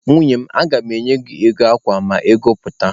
Nwunye m, aga mụ enye gị ego akwa ma ego ya pụta.